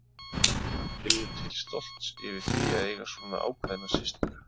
Hann finnur til stolts yfir því að eiga svona ákveðna systur.